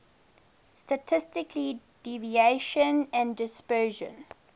statistical deviation and dispersion